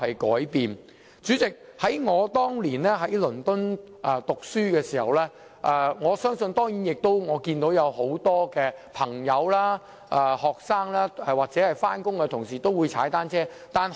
代理主席，當年我在倫敦讀書時，我看到很多朋友、學生或上班人士也會踏單車。